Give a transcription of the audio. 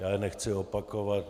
Já je nechci opakovat.